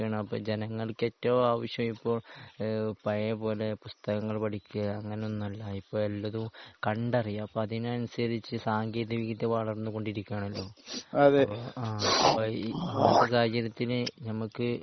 അപ്പൊ ജനങ്ങൾക്ക് ഏറ്റവും ആവശ്യം ഇപ്പോൾ ഏഹ് പഴയ പോലെ പുസ്തകങ്ങൾ പഠിക്കാ അങ്ങനെ ഒന്നും അല്ല. ഇപ്പൊ എല്ലതും കണ്ട് അറിയാ. അപ്പൊ അതിനനുസരിച്ച് സാങ്കേന്തിക വിദ്യ വളർന്നു കൊണ്ടിരിക്കാണല്ലോ ആഹ് അപ്പൊ ഈ സാഹചര്യത്തിന് നമുക്ക്